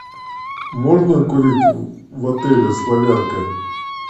можно курить в отеле славянка